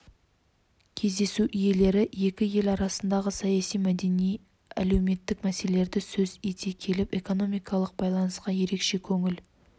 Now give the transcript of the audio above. кездесу иелері екі ел арасындағы саяси мәдени әлеуметтік мәселелерді сөз ете келіп экономикалық байланысқа ерекше көңіл